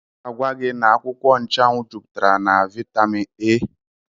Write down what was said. Ọ ga-agwa gị na akwụkwọ nchụanwụ jupụtara na Vaitamin A.